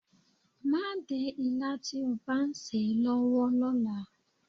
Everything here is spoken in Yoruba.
Má dé ilá tí ó bá ń sè é lọ́wọ́ lọ́la.